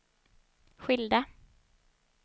skilda